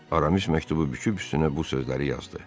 Aramis məktubu büküb üstünə bu sözləri yazdı.